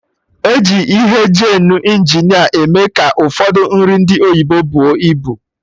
Eji ihe geenu Injineer eme ka Ụfọdụ nri ndị oyibo buo ibu